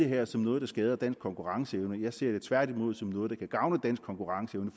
her som noget der skader dansk konkurrenceevne jeg ser det tværtimod som noget der kan gavne dansk konkurrenceevne